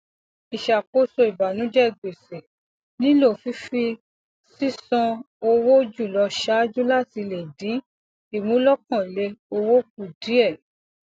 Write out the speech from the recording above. ìṣàkóso ìbànújẹ gbèsè nílò fífi sísan owó jùlọ ṣáájú láti lè dín ìmúlòkànlẹ owó kù díẹ